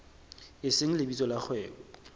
e seng lebitso la kgwebo